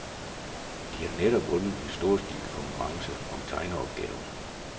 De har netop vundet en storstilet konkurrence om tegneopgaven.